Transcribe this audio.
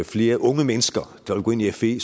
flere unge mennesker der vil gå ind i fe